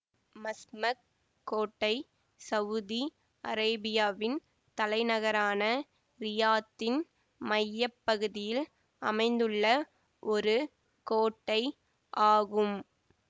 Masmak கோட்டை Saudi அரேபியாவின் தலைநகரான ரியாத்தின் மைய பகுதியில் அமைந்துள்ள ஒரு கோட்டை ஆகும்